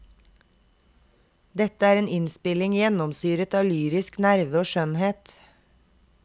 Det er en innspilling gjennomsyret av lyrisk nerve og skjønnhet.